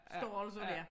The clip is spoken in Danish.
Størrelser dér